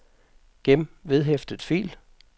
gem vedhæftet fil